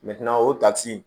o takisi